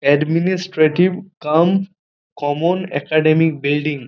Administrative cum common academic building.